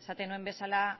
esaten nuen bezala